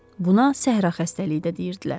Buna Səhra xəstəliyi də deyirdilər.